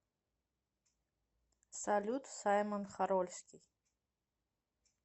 салют саймон хорольский